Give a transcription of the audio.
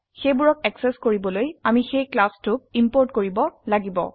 সেইবোৰক অ্যাক্সেস কৰিবলৈ আমি সেই ক্লাছ টোক ইম্পোৰ্ট কৰিব লাগিব